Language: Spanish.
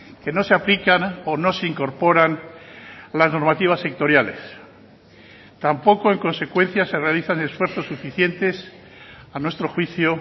que no se aplican o no se incorporan las normativas sectoriales tampoco en consecuencia se realizan esfuerzos suficientes a nuestro juicio